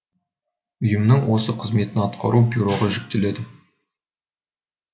ұйымның осы қызметін атқару бюроға жүктелді